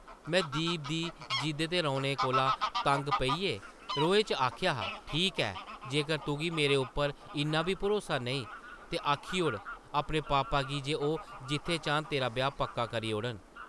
में दीप दी जिद्द ते रोने कोला तंग पेइयै रोहै च आखेआ हा, ‘‘ठीक ऐ! जेकर तुगी मेरे उप्पर इन्ना बी भरोसा नेईं ते आखी ओड़ अपने पापा गी जे ओह् जित्थै चाह्न तेरा ब्याह् पक्का करी ओड़न ।’’